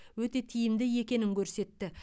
өте тиімді екенін көрсетті